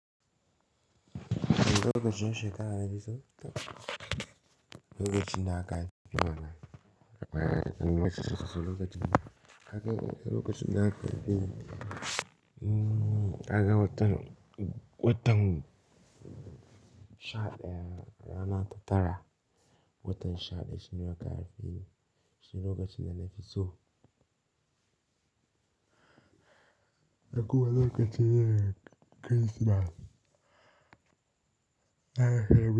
Lokacin shekara ne sau, lokacin da aka fi yi mana. Bayan an yi masa kasuwa, lokacin da aka yi, lokacin da aka yi, mm, daga watan, watan sha ɗaya rana ta tara. Watan shaɗaya shine lokaci fi yi, shine lokacin da na fi so. Da kuma lokacin Kirsimeti na yi.